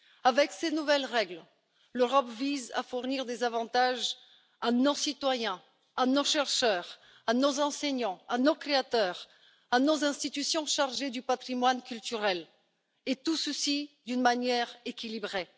Avec ces nouvelles règles, l'Europe vise à fournir des avantages à nos citoyens, à nos chercheurs, à nos enseignants, à nos créateurs, à nos institutions chargées du patrimoine culturel, et tout ceci d'une manière équilibrée.